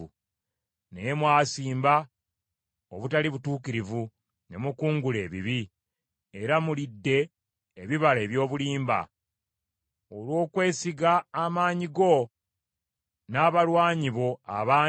Naye mwasimba obutali butuukirivu ne mukungula ebibi, era mulidde ebibala eby’obulimba. Olw’okwesiga amaanyi go, n’abalwanyi bo abangi,